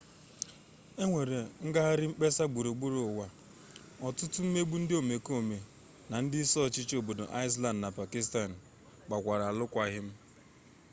enwere ngagharị mkpesa gburugburu ụwa ọtụtụ mkpegbu ndị omekome na ndị isi ọchịchị obodo iceland na pakistan gbakwara arụkwaghịm